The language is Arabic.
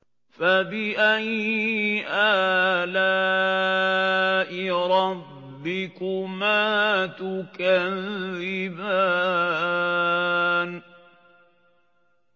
فَبِأَيِّ آلَاءِ رَبِّكُمَا تُكَذِّبَانِ